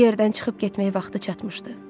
Bu yerdən çıxıb getmək vaxtı çatmışdı.